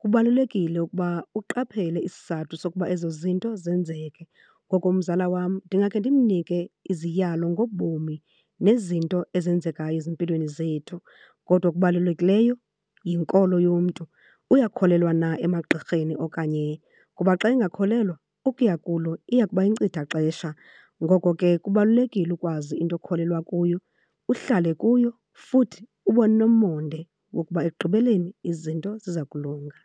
kubalulekile ukuba uqaphele isizathu sokuba ezo zinto zenzeke. Ngoko umzala wam ndingakhe ndimnike iziyalo ngobomi nezinto ezenzekayo ezimpilweni zethu. Kodwa okubalulekileyo yinkolo yomntu, uyakholelwa na emagqirheni okanye. Kuba xa engakholelwa ukuya kulo iya kuba yinkcithaxesha. Ngoko ke kubalulekile ukwazi into okholelwa kuyo, uhlale kuyo futhi ube nomonde wokuba ekugqibeleni izinto ziza kulunga.